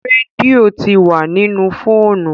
Rédíò tí wá nínú fóònù.